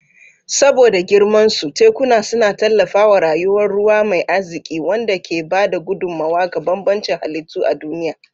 Saboda girmansu, tekuna suna tallafawa rayuwar ruwa mai arziƙi, wanda ke ba da gudummawa ga bambancin halittu a duniya.